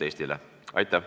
Aitäh!